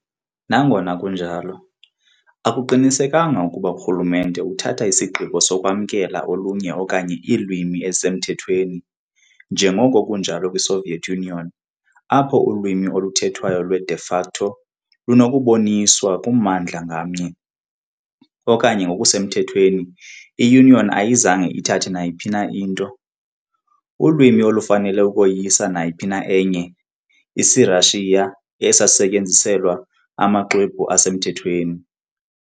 Nangona kunjalo, akuqinisekanga ukuba urhulumente uthatha isigqibo sokwamkela olunye okanye iilwimi ezisemthethweni ezisemthethweni, njengoko kunjalo kwiSoviet Union, apho ulwimi oluthethwayo lwe, de facto, lunokuboniswa kummandla ngamnye, kodwa ngokusemthethweni i-Union ayizange ithathe nayiphi na into. ulwimi olufanele ukoyisa nayiphi na enye isiRashiya sasisetyenziselwa amaxwebhu asemthethweni.